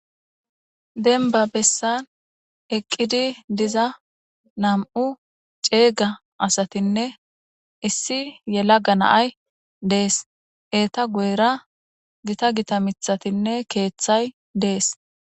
denba bessan eqqidi diza nam7u ceega asatinne issi yela ganaay dees eeta guyra gita gita mithatinne keeththay dees